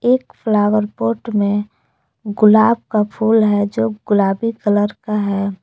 एक flower pot में गुलाब का फूल है जो गुलाबी कलर का है।